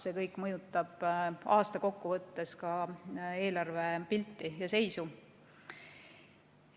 See kõik mõjutab aasta kokkuvõttes ka eelarvepilti ja -seisu.